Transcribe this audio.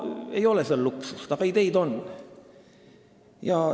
Ei ole seal luksust, aga ideid on.